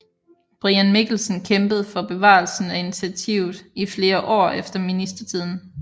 Brian Mikkelsen kæmpede for bevarelsen af initiativet i flere år efter ministertiden